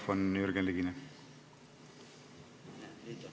Palun mikrofon Jürgen Ligile!